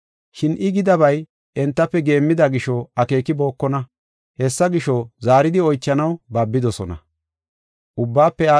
Shin I gidabay entafe geemmida gisho, akeekibokona. Hessa gisho, zaaridi oychanaw babidosona.